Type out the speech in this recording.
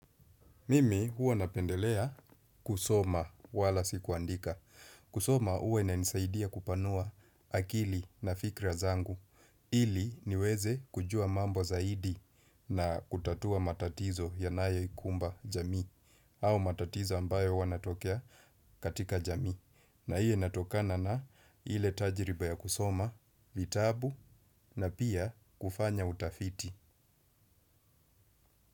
Mimi huwa napendelea kusoma wala sikuandika. Kusoma huwa inanisaidia kupanua akili na fikra zangu. Ili niweze kujua mambo zaidi na kutatua matatizo yanayo ikumba jamii. Au matatizo ambayo huwanatokea katika jamii. Na hiyo inatokana na ile tajiriba ya kusoma vitabu na pia kufanya utafiti.